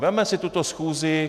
Vezměme si tuto schůzi.